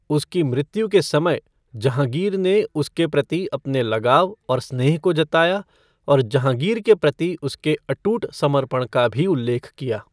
उसकी मृत्यु के समय, जहाँगीर ने उसके प्रति अपने लगाव और स्नेह को जताया और जहाँगीर के प्रति उसके अटूट समर्पण का भी उल्लेख किया।